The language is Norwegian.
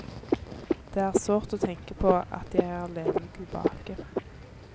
Det er sårt å tenke på at jeg er alene tilbake.